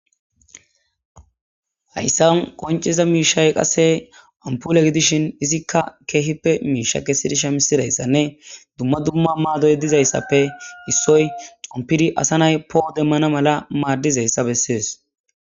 Haysan qonccizayssa miishay ampule gidishin izikka keehippe miisha kesidi shamisizayssanne dumma dumma maadoy issoy xompidi asa nay po'o demanas mala maadizayssa bessees.